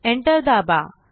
enter दाबा